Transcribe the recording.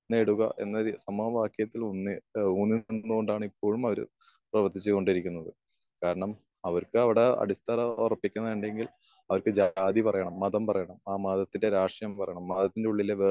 നേടുക എന്നൊരു സമാവാക്യത്തിൽ ഉന്നയി ഏഹ് ഊന്നു നിന്ന് കൊണ്ടാണ് ഇപ്പോഴുണ് അവര് പ്രവർത്തിച്ചു കൊണ്ടിരിക്കുന്നത്. കാരണം അവർക്ക് അവിടെ അടിത്തറ ഉറപ്പിക്കുന്നുണ്ടെങ്കിൽ അവർക്ക് ജാതി പറയണം. മതം പറയണം. ആ മതത്തിന്റെ രാഷ്ട്രം അവർക്ക് അറിയണം. മതത്തിന്റെ ഉള്ളിലെ